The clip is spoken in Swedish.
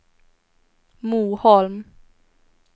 Moholm